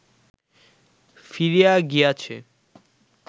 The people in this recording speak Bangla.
ফিরিয়া গিয়াছে